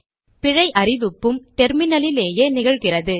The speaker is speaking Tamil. பிழை அறிவிப்பும் டெர்மினலிலேயே நிகழ்கிறது